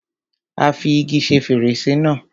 Á fi igi ṣe fèrèsé náà.